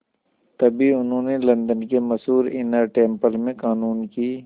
तभी उन्हें लंदन के मशहूर इनर टेम्पल में क़ानून की